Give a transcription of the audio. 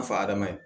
fadama ye